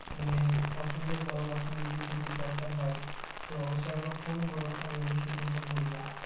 মানে অসুবিধায় পড়ো বা কোনও জিনিস যদি দরকার হয় তো অবশ্যই আমাকে phone কোরো আমি অবশ্যই তোমাকে বলব